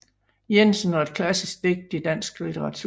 Jensen og et klassisk digt i dansk litteratur